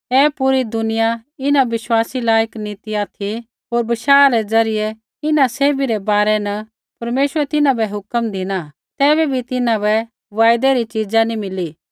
ऐ पूरी दुनिया इन्हां विश्वासी लायक नी ती ऑथि होर बशाह रै द्वारा इन्हां सैभी रै बारै परमेश्वरै तिन्हां बै हुक्म धिना तैबै बी तिन्हां बै वायदै री च़ीज़ा नी मिली